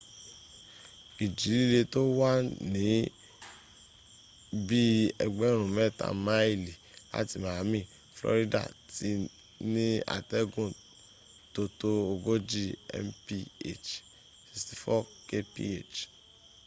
ìjì líle tó wà ní bí i ẹgbẹ̀rún mẹ́ta máìlì láti miami florida ti ní atẹ́gùn tótó ogójì mph 64 kph